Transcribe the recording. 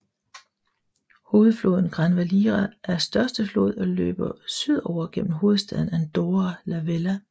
Hovedfloden Gran Valira er største flod og løber sydover gennem hovedstaden Andorra la Vella